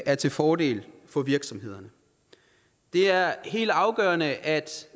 er til fordel for virksomhederne det er helt afgørende at